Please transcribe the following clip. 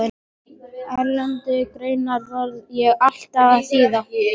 Erlendar greinar varð ég allar að þýða.